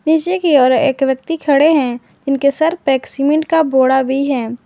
पीछे की और एक व्यक्ति खड़े हैं जिनके सर पे सीमेंट का बोड़ा भी है।